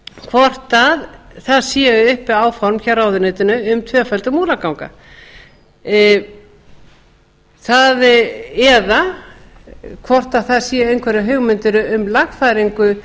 hvort það séu uppi áform hjá ráðuneytinu um tvöföldun múlaganga eða hvort það séu einhverjar hugmyndir um lagfæringu